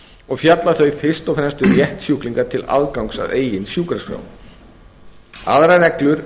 og fjalla þau fyrst og fremst um rétt sjúklinga til aðgangs að eigin sjúkraskrá aðrar reglur